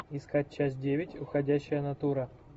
искать часть девять уходящая натура